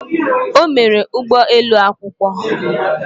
O mere ụgbọ elu akwụkwọ.